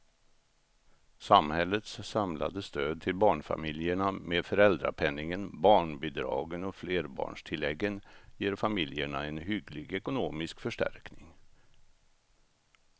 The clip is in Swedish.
Samhällets samlade stöd till barnfamiljerna med föräldrapenningen, barnbidragen och flerbarnstilläggen ger familjerna en hygglig ekonomisk förstärkning.